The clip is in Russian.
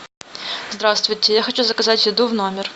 здравствуйте я хочу заказать еду в номер